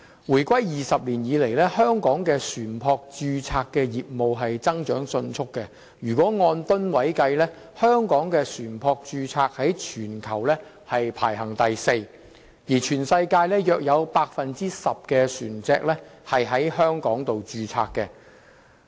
回歸20年以來，香港的船舶註冊業務增長迅速，按噸位計算，香港的船舶註冊在全球排名第四，全世界約有 10% 的船隻在香港註冊。